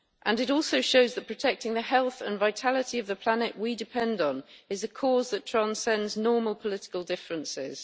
It also shows that protecting the health and vitality of the planet we depend on is a cause that transcends normal political differences.